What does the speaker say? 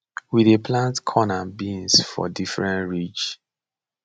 we dey plant corn and beans for different ridge